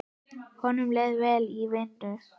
Honum leið vel í vinnu.